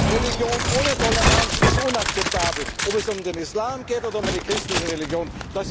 Religion ohne Toleranz ist inakzeptabel, ob es um den Islam geht oder um eine christliche Religion.